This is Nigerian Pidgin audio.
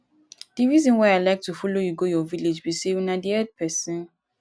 the reason why i like to follow you go your village be say una dey help person